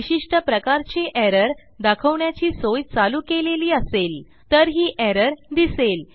विशिष्ट प्रकारची एरर दाखवण्याची सोय चालू केलेली असेल तर ही एरर दिसेल